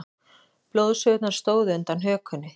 Blóðgusurnar stóðu undan hökunni.